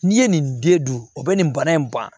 N'i ye nin den dun o bɛ nin bana in ban